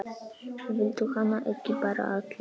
Viltu hana ekki bara alla?